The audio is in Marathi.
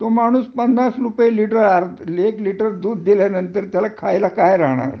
तो माणूस पन्नास रुपये लिटर एक लिटर दूध दिल्यानंतर तर त्याला खायला काय राहणार